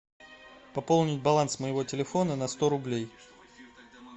пополнить баланс моего телефона на сто рублей